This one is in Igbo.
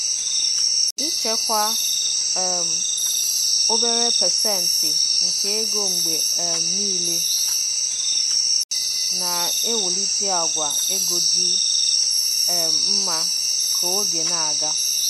Ịchekwa um obere pasentị nke ego mgbe um niile na-ewulite àgwà ego dị um mma ka oge na-aga.